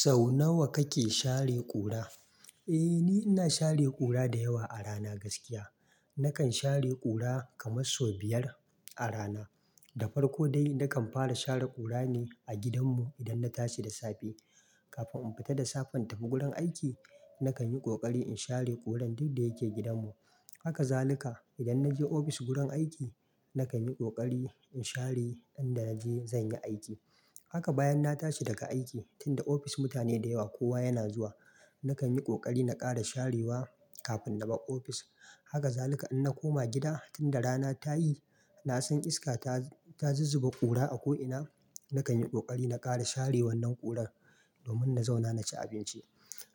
Sau nawa kake share ƙura? Eh, ni ina share ƙura da yawa a rana gaskiya. Nakan share ƙura kamar sau biyar a rana. Da farko dai nakan fara share ƙura ne a gidanmu idan na tashi da safe. Kafin in fita da safen in tafi gurin aiki, nakan yi ƙoƙari in share ƙuran duk da yake gidanmu. Haka zalika idan na je ofis gurin aiki, na kan yi ƙoƙari in share ƙuran gun da naje zan yi aiki. Haka bayan na tashi daga aiki, tunda ofis mutane da yawa kowa yana zuwa, na kan yi ƙoƙari na ƙara sharewa kafin na bar ofis. Haka zalika in na koma gida, tunda rana ta yi, na san iska ta zizzuba ƙura a ko'ina, na kan yi ƙoƙari na ƙara share wannan ƙurar domin na zauna na ci abinci.